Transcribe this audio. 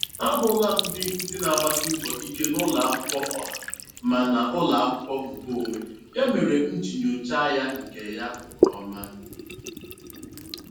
Ahụla m ndị nkụzi na-agbasi mbọ ike n'ụlọ akwụkwọ ọha ma n'ụlọ akwụkwọ nke onwe, ya mere m ji nyocha ya nke ya nke ọma.